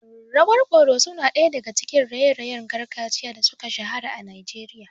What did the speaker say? Rawar ƙoroso na daya daga cikin raye-rayen gargajiya da suka shahara a Najeriya.